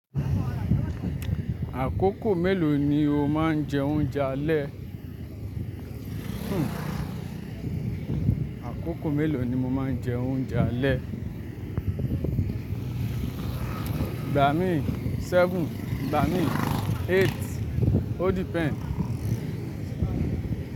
Àkókò mélòó ni o máa ń jẹ oúnjẹ alẹ́? Àkókò mélòó ni mo máa ń jẹ oúnjẹ alẹ́? Ìgbà mi seven, ìgbà mi eight. O depend.